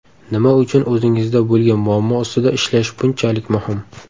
Nima uchun o‘zingizda bo‘lgan muammo ustida ishlash bunchalik muhim?